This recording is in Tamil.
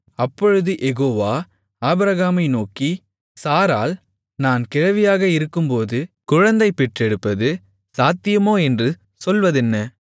அப்பொழுது யெகோவா ஆபிரகாமை நோக்கி சாராள் நான் கிழவியாக இருக்கும்போது குழந்தைபெற்றெடுப்பது சாத்தியமோ என்று சொல்வதென்ன